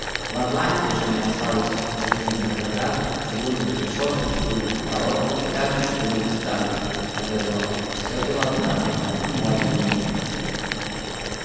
в атланте уже не осталось чугунных оград чугунных решёток чугунных ворот и даже чугунных статуй на газонах всё было отправлено в плавильни